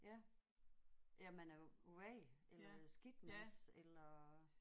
Ja ja at man er vag eller skidtmads eller